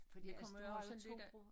Fordi du har også 2 broer